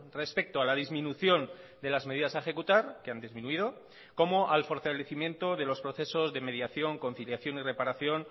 respecto a la disminución de las medidas a ejecutar que han disminuido como al fortalecimiento de los procesos de mediación conciliación y reparación